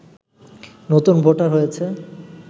নতুন ভোটার হয়েছে